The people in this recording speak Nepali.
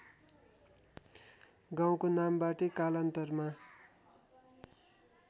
गाउँको नामबाटै कालान्तरमा